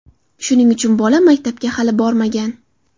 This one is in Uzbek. Shuning uchun bola maktabga hali bormagan.